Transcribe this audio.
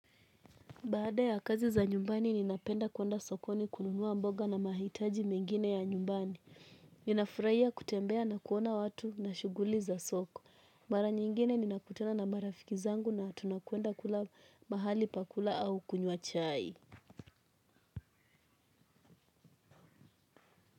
Baada ya kazi za nyumbani ninapenda kuwenda sokoni kununuwa mboga na mahitaji mengine ya nyumbani. Ninafurahia kutembea na kuona watu na shuguli za soko. Mara nyingine ninakutana na marafiki zangu na tunakwenda kula mahali pakula au kunywa chai.